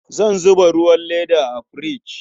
An zuba ruwan leda a firich.